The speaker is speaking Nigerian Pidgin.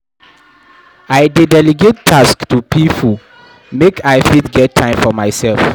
I dey delegate tasks to pipo make I fit get time for mysef.